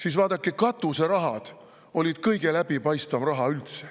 Aga vaadake, katuseraha oli kõige läbipaistvam raha üldse.